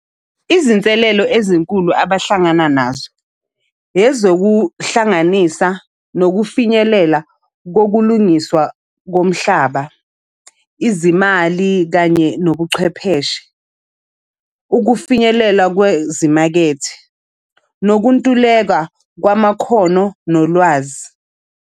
Izinselelo ezinkulu abahlangana nazo, ezokuhlanganisa nokufinyelela kokulungiswa komhlaba, izimali kanye nobuchwepheshe, ukufinyelela kwezimakethe, nokuntuleka kwamakhono nolwazi.